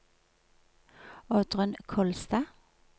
Oddrun Kolstad